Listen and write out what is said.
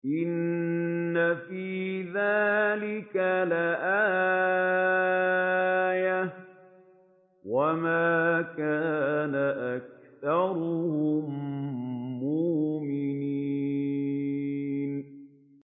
إِنَّ فِي ذَٰلِكَ لَآيَةً ۖ وَمَا كَانَ أَكْثَرُهُم مُّؤْمِنِينَ